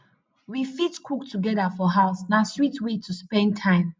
we fit cook together for house na sweet way to spend time